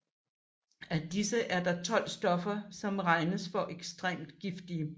Af disse er der 12 stoffer som regnes for ekstremt giftige